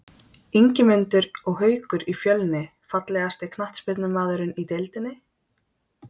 Ingimundur og Haukur í Fjölni Fallegasti knattspyrnumaðurinn í deildinni?